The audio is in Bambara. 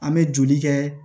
An bɛ joli kɛ